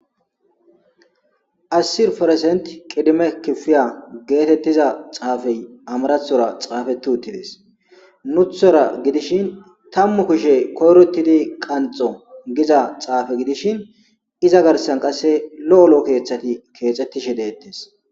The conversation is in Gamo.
assirforesent qidime kifiya geetettiza xaafey amarathora xaafeti uttides nuthora gidishin tammu kushe koyrotidi qanxo giza xaafe gidishin iza garsan qase lo7olo7 keeththati keexettishe deettes